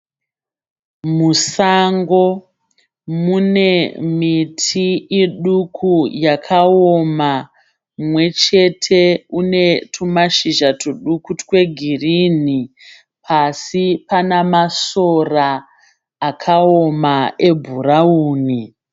Musango mune miti iduku yakaoma. Mumwe chete unetumashizha tuduku twegirini. Pasi panamasora akaoma ebhurauni.